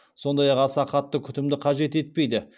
сондай ақ аса қатты күтімді қажет етпейді